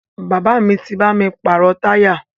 Bàbá mi bá mi pàrọ̀ táyà